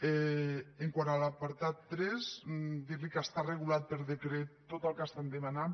quant a l’apartat tres dir li que està regulat per decret tot el que estan demanant